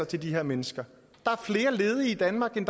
til de her mennesker der er flere ledige i danmark end